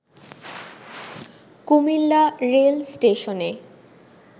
Comilla rail স্টেশনে